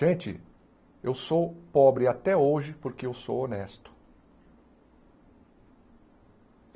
Gente, eu sou pobre até hoje porque eu sou honesto.